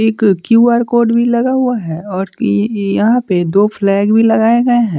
एक Q _ R_ code भी लगा हुआ है और यहाँ पे दो फ्लैग भी लगाए गए हैं।